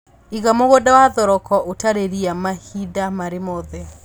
Iga mũgũnda wa thoroko ũtarĩ ria mahinda marĩ mothe